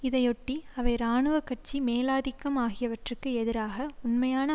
இதையொட்டி அவை இராணுவ கட்சி மேலாதிக்கம் ஆகியவற்றுக்கு எதிராக உண்மையான